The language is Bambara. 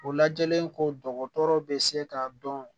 O lajɛlen ko dɔgɔtɔrɔ bɛ se k'a dɔn